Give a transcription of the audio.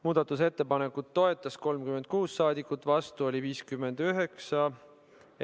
Muudatusettepanekut toetas 36 rahvasaadikut, vastu oli 59.